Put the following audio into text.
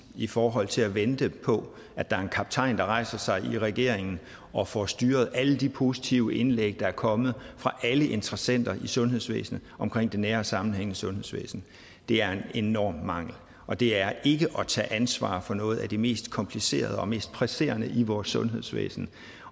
i forhold til at vente på at der er en kaptajn der rejser sig i regeringen og får styret alle de positive indlæg der er kommet fra alle interessenter i sundhedsvæsenet omkring det nære og sammenhængende sundhedsvæsen det er en enorm mangel og det er ikke at tage ansvar for noget af det mest komplicerede og mest presserende i vores sundhedsvæsen